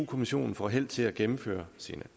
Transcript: kommissionen får held til at gennemføre sine